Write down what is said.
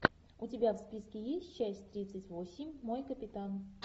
у тебя в списке есть часть тридцать восемь мой капитан